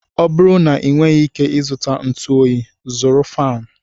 Ọ bụrụ na ị nweghị ike ị zụta ntụ Onyi, zụrụ faanụ.